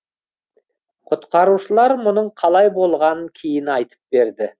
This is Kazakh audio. құтқарушылар мұның қалай болғанын кейін айтып берді